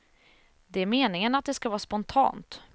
Det är meningen att det ska vara spontant.